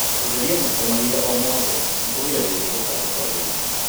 gũtheria moko mahinda omothe nĩkũgiragĩrĩria gũtamba kwa mĩrimũ